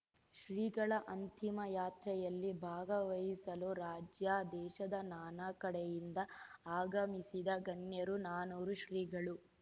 ಶ್ರೀಗಳ ಅಂತಿಮ ಯಾತ್ರೆಯಲ್ಲಿ ಭಾಗವಹಿಸಲು ರಾಜ್ಯ ದೇಶದ ನಾನಾ ಕಡೆಯಿಂದ ಆಗಮಿಸಿದ್ದ ಗಣ್ಯರು ನಾನೂರು ಶ್ರೀಗಳು